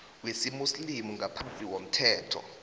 wesimuslimu ngaphasi komthetho